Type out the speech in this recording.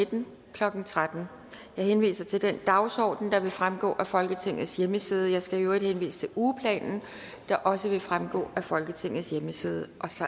nitten klokken tretten jeg henviser til den dagsorden der vil fremgå af folketingets hjemmeside og jeg skal øvrigt henvise til ugeplanen der også vil fremgå af folketingets hjemmeside